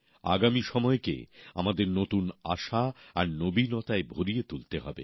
আগামী সময়কে আমাদের নতুন আশা আর নতুনত্বের ছোঁয়ায় ভরিয়ে তুলতে হবে